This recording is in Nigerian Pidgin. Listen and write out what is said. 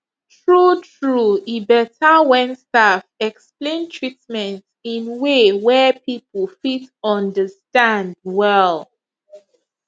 true true e better when staff explain treatment in way wey people fit understand well